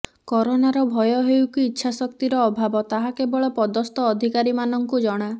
କରୋନାର ଭୟ ହେଉ କି ଇଚ୍ଛାଶକ୍ତିର ଅଭାବ ତାହା କେବଳ ପଦସ୍ଥ ଅଧିକାରୀମାନଙ୍କୁ ଜଣା